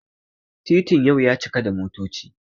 titin yau ya cika da motoci